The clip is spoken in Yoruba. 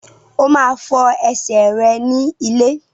O máa fọ ẹsẹ̀ rẹ ní ilé.